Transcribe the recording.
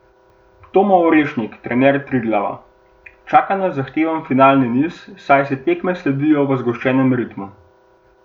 Tomo Orešnik, trener Triglava: "Čaka nas zahteven finalni niz, saj si tekme sledijo v zgoščenem ritmu.